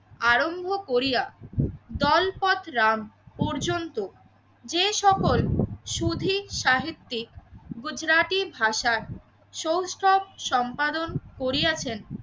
আরম্ভ করিয়া জলপথ রাম পর্যন্ত যে সকল সুধী সাহিত্যিক গুজরাটি ভাষার সম্পাদন করিয়াছেন